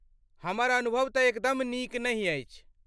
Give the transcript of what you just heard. हमर अनुभव तँ एकदम नीक नहि अछि।